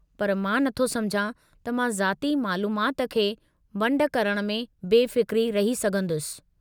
पर मां नथो समुझां त मां ज़ाती मालूमाति खे वंड करण में बेफ़िक्र रही सघंदुसि।